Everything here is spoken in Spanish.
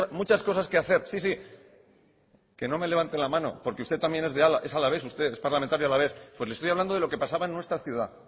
muchas cosas que hacer sí sí que no me levante la mano porque usted también es alavés usted es parlamentario alavés pues le estoy hablando de lo que pasaba en nuestra ciudad